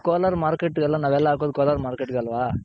Kolar Market ನಾವೆಲ್ಲಾ ಹಾಕೋದ್ Kolar Market ಗೆ ಅಲ್ವ .